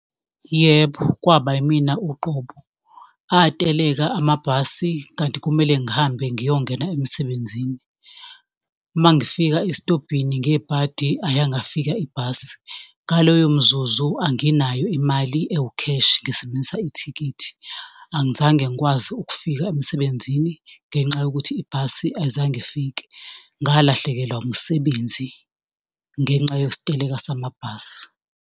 Yebo, kwaba imina uqobo, ateleka amabhasi kanti kumele ngihambe ngiyongena emsebenzini. Uma ngifika esitobhini ngebhadi ayangafika ibhasi ngaloyo mzuzu anginayo imali ewukheshi ngisebenzisa ithikithi, angizange ngikwazi ukufika emsebenzini ngenxa yokuthi ibhasi ayizange ifike ngalahlekelwa umsebenzi ngenxa yesiteleka samabhasi.